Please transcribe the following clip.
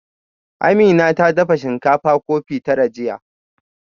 Amina ta dafa shinkafa kofi tara jiya